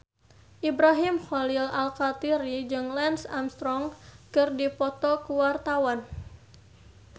Ibrahim Khalil Alkatiri jeung Lance Armstrong keur dipoto ku wartawan